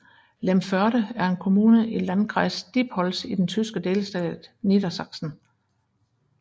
Lemförde er en kommune i i Landkreis Diepholz i den tyske delstat Niedersachsen